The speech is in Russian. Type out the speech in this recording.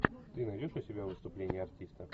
ты найдешь у себя выступление артиста